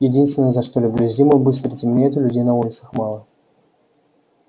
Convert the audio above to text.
единственное за что люблю зиму быстро темнеет и людей на улицах мало